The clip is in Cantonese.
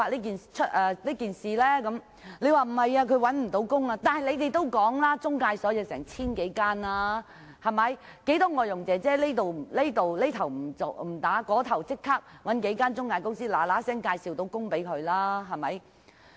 他說擔心外傭會因而找不到工作，但你們也說過中介公司有 1,000 多間，其實有不少外傭這邊廂辭工，那邊廂便立即找數間中介公司介紹工作。